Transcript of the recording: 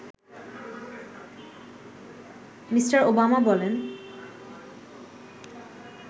Me. Obama বলেন